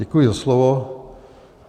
Děkuji za slovo.